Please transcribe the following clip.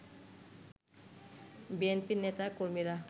বিএনপির নেতা-কর্মীরা